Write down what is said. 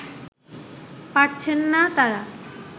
পারছেন না তারা